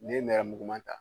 N'i ye nɛrɛmuguma ta